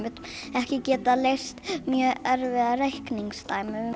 ekki geta leyst mjög erfið reikningsdæmi